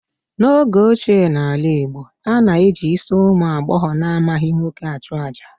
N'oge ochie n'ala Igbo, a na-eji isi ụmụ agbọghọ na-amaghị nwoke achụ àjà